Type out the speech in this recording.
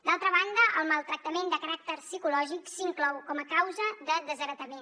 d’altra banda el maltractament de caràcter psicològic s’inclou com a causa de desheretament